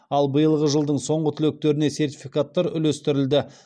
ал биылғы жылдың соңғы түлектеріне сертификаттар үлестірілді